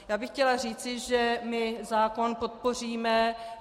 Já bych chtěla říct, že my zákon podpoříme.